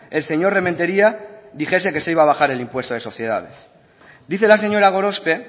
el señor rementeria dijese que se iba a bajar el impuesto de sociedades dice la señora gorospe